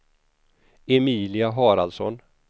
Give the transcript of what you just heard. Emilia Haraldsson